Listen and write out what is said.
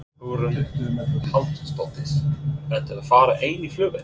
Hugrún Halldórsdóttir: Ertu að fara ein í flugvél?